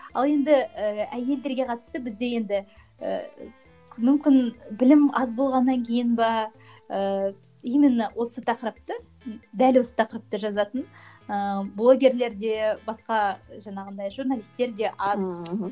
ал енді і әйелдерге қатысты бізде енді ііі мүмкін білім аз болғаннан кейін бе ііі именно осы тақырыпты дәл осы тақырыпты жазатын ыыы блогерлер де басқа жаңағындай журналистер де аз мхм